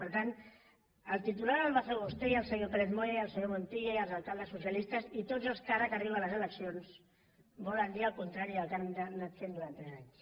per tant el titular el va fer vostè i el senyor pérez moya i el senyor montilla i els alcaldes socialistes i tots els que ara que arriben les eleccions volen dir el contrari del que han anat fent durant tres anys